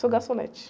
Sou garçonete.